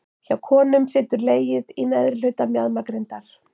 Hjá konum situr legið í neðri hluta mjaðmagrindar.